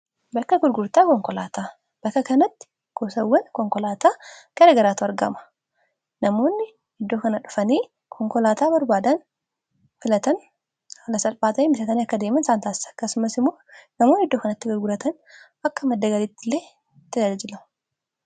Bakka gurgurtaa konkolaataa. Bakka kanatti gosawwan konkolaataa kara garaatu argama namoonni iddoo kana dhufanii konkolaataa barbaadaan filatan haala salphaa ta'en bitatanii akka deeman isaan taasisaa akkasumas immoo namooni iddoo kanatti gurguratan akka maddagaliitti illee tajaajajila.